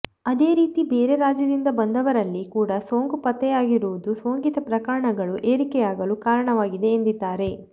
ಅದೇ ರೀತಿ ಬೇರೆ ರಾಜ್ಯದಿಂದ ಬಂದವರಲ್ಲಿ ಕೂಡಾ ಸೋಂಕು ಪತ್ತೆಯಾಗಿರುವುದು ಸೋಂಕಿತ ಪ್ರಕರಣಗಳು ಏರಿಕೆಯಾಗಲು ಕಾರಣವಾಗಿದೆ ಎಂದಿದ್ದಾರೆ